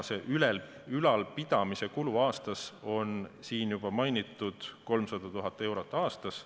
Ülalpidamiskulu aastas on siin juba mainitud 300 000 eurot aastas.